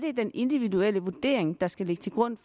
er den individuelle vurdering der skal ligge til grund